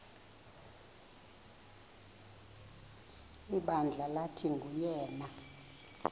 ibandla lathi nguyena